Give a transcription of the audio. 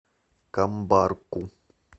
камбарку